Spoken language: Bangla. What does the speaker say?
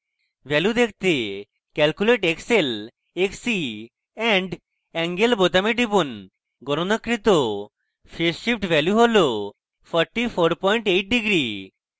value দেখতে calculate xl xc and angle বোতামে টিপুন গণনাকৃত phase shift value হল 448 ডিগ্রী